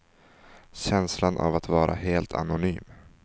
Känslan av att vara helt anonym.